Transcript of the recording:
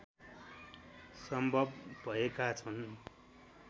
सम्भव भएका छन्